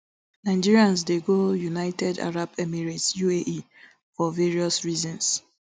nigerians dey go united arab emirates uae for various reasons